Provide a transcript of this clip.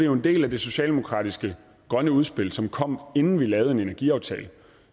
jo en del af det socialdemokratiske grønne udspil som kom inden vi lavede en energiaftale